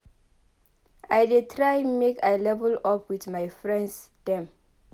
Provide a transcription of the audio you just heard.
I dey try make I level up wit my friends dem.